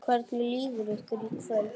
Hvernig líður ykkur í kvöld?